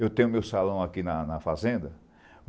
Eu tenho meu salão aqui na, na fazenda.